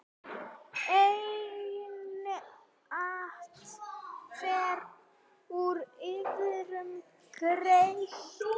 Einatt fer úr iðrum greitt.